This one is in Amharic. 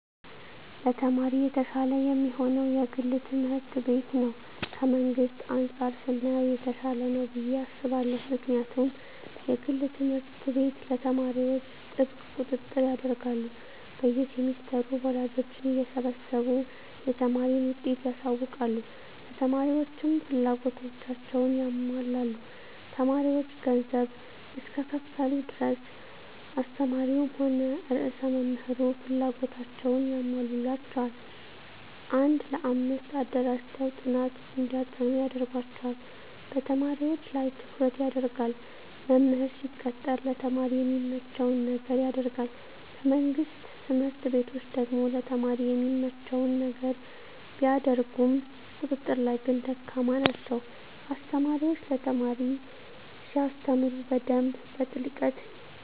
ለተማሪ የተሻለ የሚሆነዉ የግል ትምህርት ቤት ነዉ ከመንግስት አንፃር ስናየዉ የተሻለ ነዉ ብየ አስባለሁ ምክንያቱም የግል ትምህርት ቤት ለተማሪዎች ጥብቅ ቁጥጥር ያደርጋሉ በየ ሴምስተሩ ወላጆችን እየሰበሰቡ የተማሪን ዉጤት ያሳዉቃሉ ለተማሪዎችም ፍላጎታቸዉን ያሟላሉ ተማሪዎች ገንዘብ እስከከፈሉ ድረስ አስተማሪዉም ሆነ ርዕሰ መምህሩ ፍላጎታቸዉን ያሟሉላቸዋል አንድ ለአምስት አደራጅተዉ ጥናት እንዲያጠኑ ያደርጓቸዋል በተማሪዎች ላይ ትኩረት ይደረጋል መምህር ሲቀጠር ለተማሪ የሚመቸዉን ነገር ያደርጋል በመንግስት ትምህርት ቤቶች ደግሞ ለተማሪ የሚመቸዉን ነገር ቢያደርጉም ቁጥጥር ላይ ግን ደካማ ናቸዉ አስተማሪዎች ለተማሪ ሲያስተምሩ በደንብ በጥልቀት